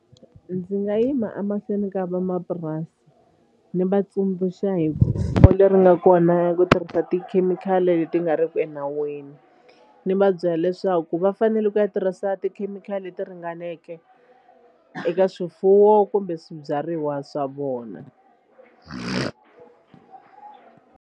Ndzi nga yima a mahlweni ka vamapurasi ni vatsundzuxa hi leri nga kona ya ku tirhisa tikhemikhali leti nga riki enawini. Ni va byela leswaku va fanele ku ya tirhisa tikhemikhali leti ringaneke eka swifuwo kumbe swibyariwa swa vona.